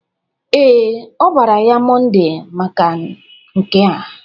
Ee, ọ bara ya Mọnde maka nke a.